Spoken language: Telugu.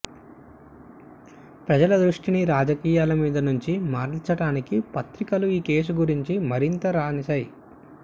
ప్రజల దృష్టిని రాజకీయాల మీద నుంచి మరల్చటానికి పత్రికలు ఈ కేసు గురించి మరింతగా రాసినై